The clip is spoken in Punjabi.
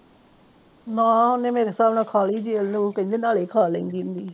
ਨਾ ਉਹਨੇ ਮੇਰੇ ਸਾਬ ਨਾਲ ਖਾ ਲਈ ਨਾਲੇ ਲੋਕ ਕਹਿੰਦੇ ਸੀ ਨਾਲੇ ਖਾ ਲੈਦੀ ਹੁੰਦੀ ਹ